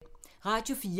Radio 4